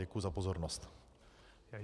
Děkuji za pozornost.